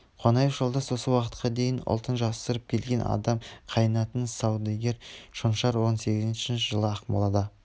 қонаев жолдас осы уақытқа дейін ұлтын жасырып келген адам қайынатасы саудагер шонжар он сегізінші жылы ақмолада